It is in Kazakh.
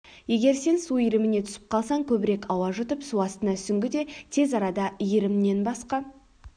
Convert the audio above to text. егер сен су иіріміне түсіп қалсаң көбірек ауа жұтып су астына сүңгіде тез арада иірімнен басқа